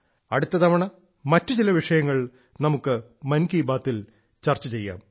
അടുത്ത തവണ മറ്റു ചില വിഷയങ്ങൾ നമുക്ക് മൻ കി ബാത്തിൽ ചർച്ച ചെയ്യാം